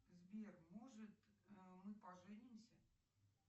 сбер может мы поженимся